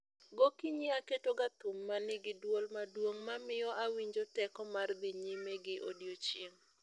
Gokinyi aketo ga thum ma ni gi dwol maduong' ma miyo awinjo teko mar dhi nyime gi odiechieng'